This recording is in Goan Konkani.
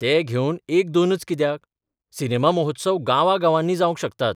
ते घेवन एक दोनच कित्याक, सिनेमा महोत्सव गावा गावांनी जावंक शकतात.